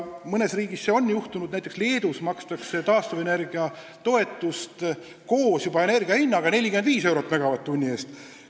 Mõnes riigis see on juhtunud, näiteks Leedus makstakse taastuvenergia toetust juba koos energia hinnaga 45 eurot megavatt-tunni eest.